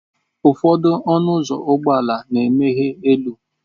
Ụfọdụ ọnụ ụzọ ụgbọ ala na-emeghe elu.